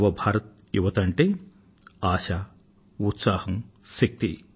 new India యువత అంటే ఆశ ఉత్సాహం శక్తి